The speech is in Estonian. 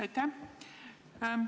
Aitäh!